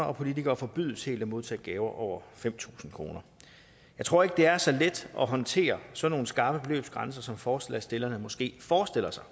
og politikere forbydes helt at modtage gaver over fem tusind kroner jeg tror ikke det er så let at håndtere sådan nogle skarpe beløbsgrænser som forslagsstillerne måske forestiller sig